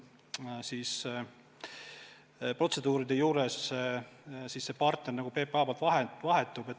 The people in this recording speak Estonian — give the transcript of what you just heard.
Praegu eri kuritegudega seotud protseduuride juures see partner PPA-s vahetub.